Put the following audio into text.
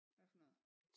Hvad for noget?